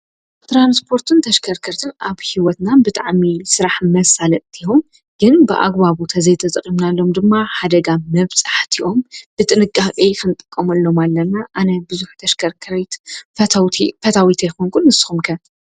ትራንስፖርትን ተሽከርከርትን ኣብ ሂወትና ብጣዕሚ ስራሕ መሳለጥቲ እዮም ።ግን ብኣግባቡ ተዘይተጠቂምናሎም ድማ ሓደጋ መብፃሕቲ እዮም ።ብጥንቃቄ ክንጥቀመሎም ኣለና። ኣነ ብዙሕ ተሽከርከሪት ፈታዊት ኣይኮንኩን ። ንስኹም ከ ?